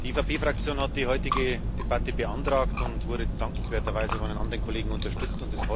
Die EVP Fraktion hat die heutige Debatte beantragt und wurde dankenswerterweise von den anderen Kollegen unterstützt.